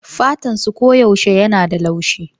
Fatansu koyaushe yana da laushi